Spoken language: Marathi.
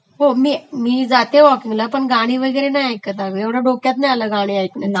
हो मी...मी जाते वॉकींगला पण गाणी वैगरे नाह ऐकतं आम्ही कधी डोक्यात नाही आलं गाणी ऐकयचं